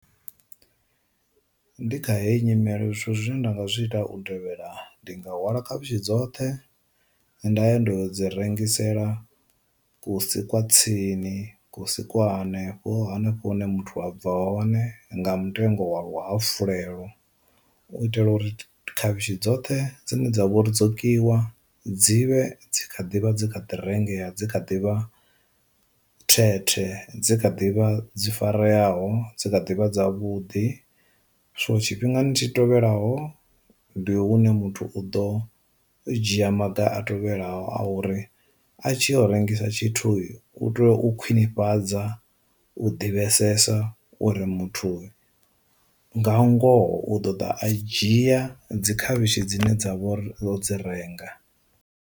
Ndi kha heyi nyimele zwithu zwine nda nga zwi ita u tevhela ndi nga hwala khavhishi dzoṱhe nda ya ndo dzi rengisela kusi kwa tsini ku si kwa hanefho hanefho hune muthu a bva hone nga mutengo wavho ha fulufhelo, u itela uri khavhishi dzoṱhe dzine dzavha uri dzo kiwa dzivhe kha ḓivha dzi kha ḓi rengeya dzi kha ḓivha thethe dzi kha ḓivha dzi fareyaho dzi kha ḓivha dza vhuḓi. So tshifhingani tshi tevhelaho ndi hune muthu u ḓo dzhia maga a tevhelaho a uri, a tshi o rengisa tshithu u tea u khwinifhadza, u ḓivhesesa uri muthu nga ngoho u ḓo ḓa a dzhia dzi khavhishi dzine dza vho ri o dzi renga.